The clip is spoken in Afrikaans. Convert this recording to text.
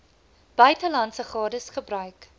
buitelandse gades gebruik